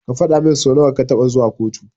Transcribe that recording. Ka fadamin so nawa ka taɓa zuwa kotu.